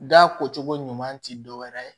Da ko cogo ɲuman ti dɔwɛrɛ ye